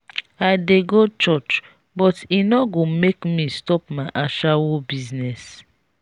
i dey go church but e no go make me stop my ashawo business.